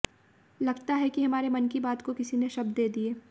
लगता है कि हमारे मन की बात को किसी ने शब्द दे दिये